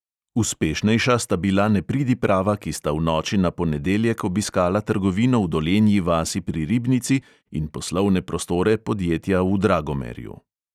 Uspešnejša sta bila nepridiprava, ki sta v noči na ponedeljek obiskala trgovino v dolenji vasi pri ribnici in poslovne prostore podjetja v dragomerju.